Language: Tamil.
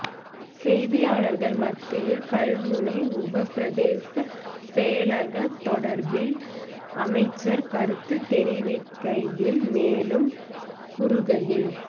செய்தியாளர்கள் மத்தியில் கல்முனை உப பிரதேச செயலகம் தொடர்பில் அமைச்சர் கருத்து தெரிவிக்கையில் மேலும் கூறுகையில்